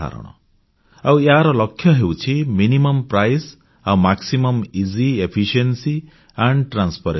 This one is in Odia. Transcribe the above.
ତା ସହିତ ପାରଦର୍ଶିତା ଓ ସ୍ବଚ୍ଛତା ମଧ୍ୟ ଯୋଡି ହୋଇ ରହିଛି